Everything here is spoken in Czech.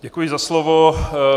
Děkuji za slovo.